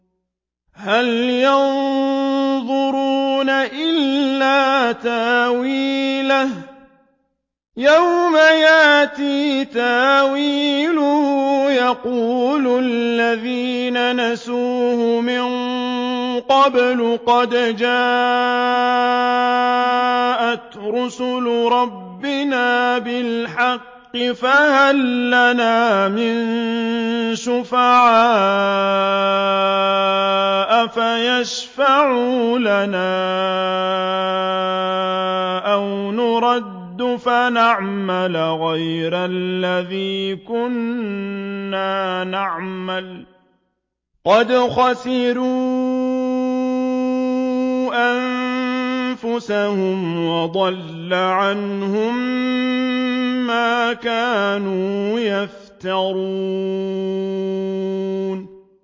هَلْ يَنظُرُونَ إِلَّا تَأْوِيلَهُ ۚ يَوْمَ يَأْتِي تَأْوِيلُهُ يَقُولُ الَّذِينَ نَسُوهُ مِن قَبْلُ قَدْ جَاءَتْ رُسُلُ رَبِّنَا بِالْحَقِّ فَهَل لَّنَا مِن شُفَعَاءَ فَيَشْفَعُوا لَنَا أَوْ نُرَدُّ فَنَعْمَلَ غَيْرَ الَّذِي كُنَّا نَعْمَلُ ۚ قَدْ خَسِرُوا أَنفُسَهُمْ وَضَلَّ عَنْهُم مَّا كَانُوا يَفْتَرُونَ